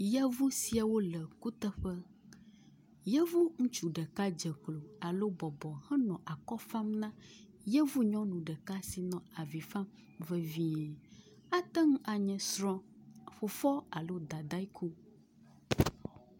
Yevu siawo le kuteƒe, yevu ŋutsu ɖeka dzeklo alo bɔbɔ henɔ akɔ fam na yevu nyɔnu ɖeka si nɔ avi fam vevie, ate ŋu anye srɔ̃, fofoa alo dadae ku